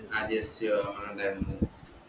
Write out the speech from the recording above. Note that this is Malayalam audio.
ആഹ് ജെസ് ജോ ഇണ്ടായിരുന്നു